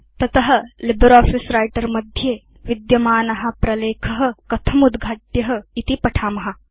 तत LibreOffice writer मध्ये विद्यमान प्रलेख कथं उद्घाट्य इति पठेम